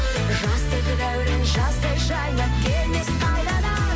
жастық дәурен жаздай жайнап келмес қайтадан